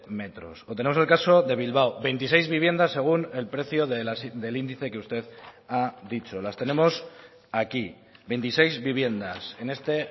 metros o tenemos el caso de bilbao veintiséis viviendas según el precio del índice que usted ha dicho las tenemos aquí veintiseis viviendas en este